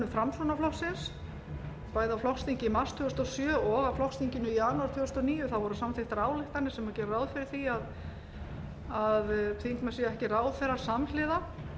framsóknarflokksins bæði á flokksþingi í mars tvö þúsund og sjö og á flokksþinginu í janúar tvö þúsund og níu voru samþykkt voru samþykktar ályktanir sem gerðu ráð fyrir því að þingmenn séu ekki ráðherrar samhliða